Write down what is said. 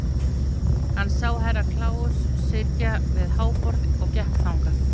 Hann sá Herra Kláus sitja við háborðið og gekk þangað.